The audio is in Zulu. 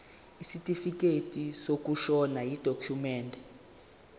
isitifikedi sokushona yidokhumende